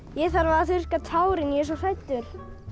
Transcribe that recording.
ég þarf að þurrka tárin ég er svo hræddur